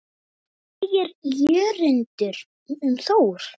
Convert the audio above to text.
Hvað segir Jörundur um Þór?